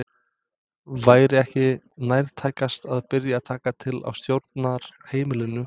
Væri ekki nærtækast að byrja að taka til á stjórnarheimilinu?